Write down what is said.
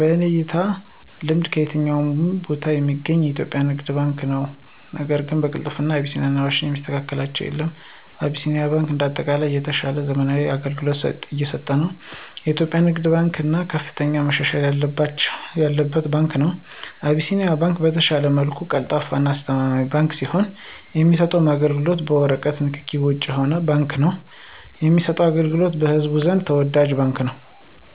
በኔ አተያይና ልምድ ከየትኛውም ቦታ ሚገኘው የኢትዮጵያ ንግድ ባንክ ነው ነገር ግን በቅልጥፍና አቢሲኒያና አዋሽ ባንክን የሚስተካከላቸው የለም። አቢሲኒያ ባንክ እንደ አጠቃላይ የተሻለና ዘመናዊ አገልግሎት እየሰጠ ነው። የኢትዮጵያ ንግድ ባንክ በሁሉም ነገር ከፍተኛ መሻሻል ያለበት ባንክ ነው። አቢሲኒያ ባንክ በተሻለ መልኩ ቀልጣፋና አስተማማኝ ባንክ ሲሆን የሚሰጠውም አገልግሎት በወረቀት ንክኪ ውጭ የሆነ ባንክ ነው ለሚሰጠው አገልግሎቱም በህዝቡ ዘንድ ተወዳጅ ባንክ ነው።